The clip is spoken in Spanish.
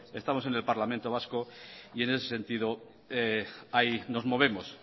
estamos en el parlamento vasco y en ese sentido ahí nos movemos